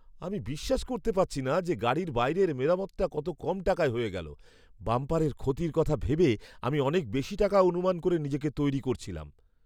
আমি বিশ্বাস করতে পারছি না যে গাড়ির বাইরের মেরামতটা কত কম টাকায় হয়ে গেল! বাম্পারের ক্ষতির কথা ভেবে আমি অনেক বেশি টাকা অনুমান করে নিজেকে তৈরি করছিলাম।